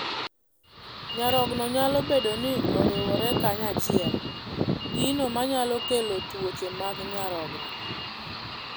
Nyarogno nyalo bedo ni oriwore kanyachiel, gino manyalo kelo twoche mag nyarogno.